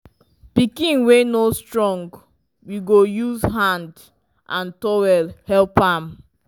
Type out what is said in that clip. pikin wey no strong we go use hand and towel help am